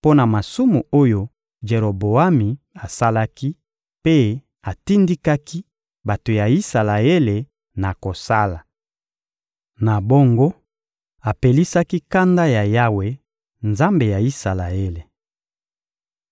mpo na masumu oyo Jeroboami asalaki mpe atindikaki bato ya Isalaele na kosala. Na bongo, apelisaki kanda ya Yawe, Nzambe ya Isalaele.